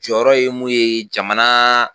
Jɔyɔrɔ ye mun ye jamana